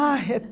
Ah, é